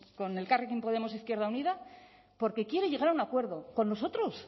con elkarrekin podemos izquierda unida porque quiere llegar a un acuerdo con nosotros